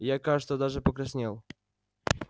я кажется даже покраснел